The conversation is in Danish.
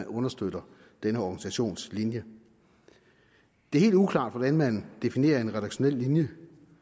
understøtter denne organisations linje det er helt uklart hvordan man definerer en redaktionel linje